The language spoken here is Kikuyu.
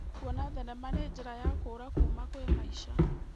Kuona thenema nĩ njĩra ya kũũra kuuma kwĩ maica.